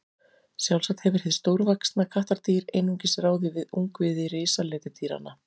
Sjálfsagt hefur hið stórvaxna kattardýr einungis ráðið við ungviði risaletidýranna.